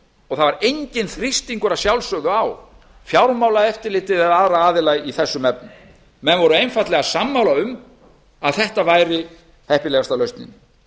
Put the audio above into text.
það er enginn þrýstingur að sjálfsögðu á fjármálaeftirlitið eða aðra aðila í þessum efnum menn voru einfaldlega sammála um að þetta væri heppilegasta lausnin